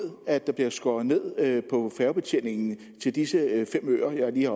at der bliver skåret ned på færgebetjeningen til disse fem øer jeg